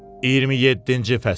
27-ci fəsil.